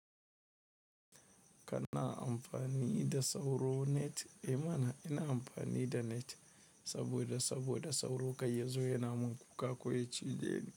Kana amfani da sauro net? Eh mana! Ina amfani da net saboda, saboda sauro kai ya zo ya namu kuka ko ya cije ni.